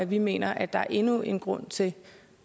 vi mener at der er endnu en grund til